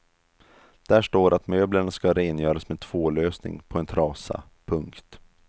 Där står att möblerna ska rengöras med tvållösning på en trasa. punkt